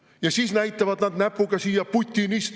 Ja siis näitavad nad näpuga siia: "Putinist!